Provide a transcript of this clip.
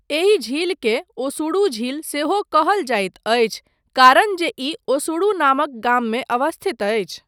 एहि झीलकेँ ओसुडू झील सेहो कहल जाइत अछि कारण जे ई ओसुडू नामक गाममे अवस्थित अछि।